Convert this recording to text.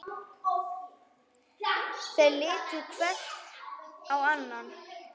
Þeir litu hver á annan.